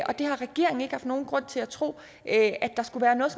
og det har regeringen ikke haft nogen grund til at tro at der skulle være noget